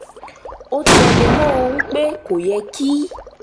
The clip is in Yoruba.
ó tẹnu mọ́ ọn pé kò yẹ kí